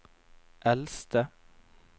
eldste